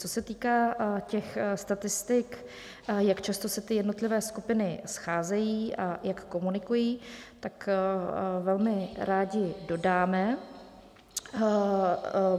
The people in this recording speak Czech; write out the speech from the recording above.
Co se týká těch statistik, jak často se ty jednotlivé skupiny scházejí a jak komunikují, tak velmi rádi dodáme.